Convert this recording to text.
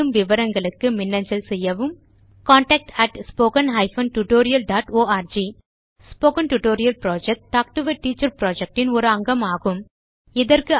மேலும் விவரங்களுக்கு contactspoken tutorialorg Spoken tutorial project talk to a teacher project இன் அங்கமாகும்